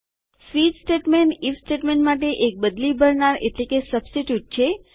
switch statement IF statement માટે એક બદલી ભરનાર છે